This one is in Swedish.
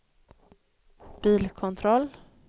bilkontroll